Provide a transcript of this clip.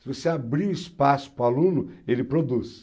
Se você abrir espaço para o aluno, ele produz.